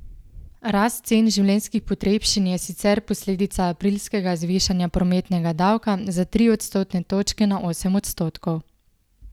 Rast cen življenjih potrebščin je sicer posledica aprilskega zvišanja prometnega davka za tri odstotne točke na osem odstotkov.